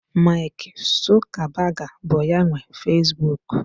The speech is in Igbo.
Mark Zuckerberg bụ ya nwe Facebook.